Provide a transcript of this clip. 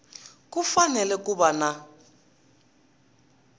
ku fanele ku va na